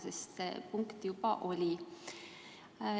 Selle kohta küsimus juba oli.